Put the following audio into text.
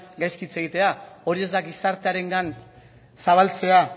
gaizki hitz egitea hori ez da gizartearengan zabaltzea